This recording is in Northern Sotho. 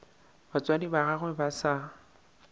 batswadi ba gagwe ba sa